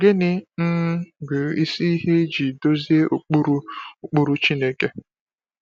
Gịnị um bụ isi ihe iji duzie ụkpụrụ ụkpụrụ Chineke?